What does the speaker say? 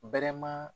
Bɛlɛma